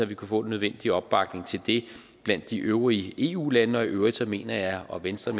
vi kunne få den nødvendige opbakning til det blandt de øvrige eu lande og i øvrigt mener jeg og venstre